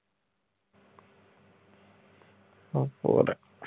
ਹੋਰ।